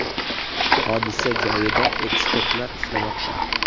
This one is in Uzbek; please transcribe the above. Hodisa joyida ekspertlar ishlamoqda.